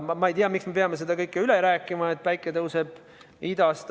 Ma ei tea, miks me peame üle rääkima, et päike tõuseb idast.